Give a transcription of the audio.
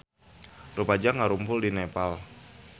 Rumaja ngarumpul di Nepal